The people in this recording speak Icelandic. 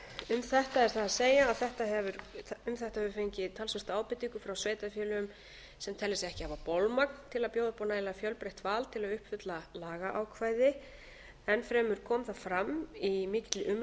um þetta er það að segja að um þetta höfum við fengið talsvert af ábendingum frá sveitarfélögum sem telja sig ekki hafa bolmagn til að bjóða upp á nægilega fjölbreytt val til að uppfylla lagaákvæði enn fremur kom það fram í mikilli umræðu sem fór fram